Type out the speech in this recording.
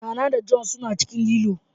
Nana da John suna cikin lilo.